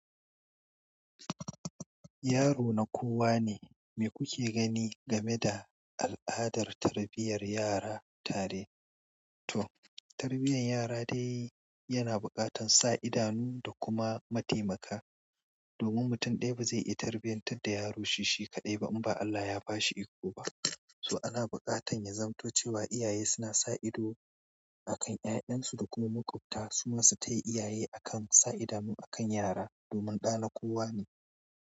Yaro na kowa ne. Me kuke gani game da al'adar tarbiyyar yara tare? To, tarbiyyar yara dai yana buƙatar sa idanu da kuma matimaka, domin mutum ɗaya ba zai iya tarbiyyantar da yaro shi-shi kaɗai ba in ba Allah ya ba shi iko ba. So ana buƙatar ya zamto cewa iyaye suna sa ido a kan 'ya'yan su da kuma makwabta su masu taya iyaye akan sa idanu akan yara domin ɗa na kowa ne.